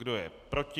Kdo je proti?